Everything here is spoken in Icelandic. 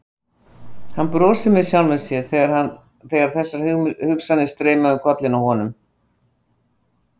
Hann brosti með sjálfum sér þegar þessar hugsanir streymdu um kollinn á honum.